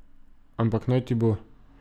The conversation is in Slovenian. Ampak, naj ti bo.